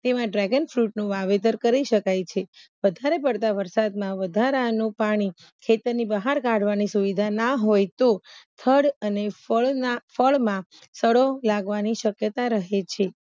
તો એમાં Dragon Fruit નું વાવેતર કરી શકાય છે વધારે પડતા વરસાદમાં વધારાનું પાણી ખેતરની બહાર કાઢવાની સુવિધા ના હોય તો થળ અને ફળના ફળમાં સડો લાગવાની શક્યતા રહે છે